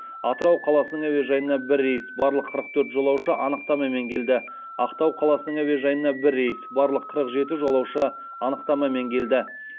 атырау қаласының әуежайына бір рейс барлық қырық төрт жолаушы анықтамамен келді ақтау қаласының әуежайына бір рейс барлық қырық жеті жолаушы анықтамамен келді